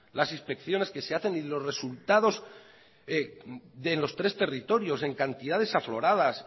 las inspecciones que se hacen y los resultados de los tres territorios en cantidades afloradas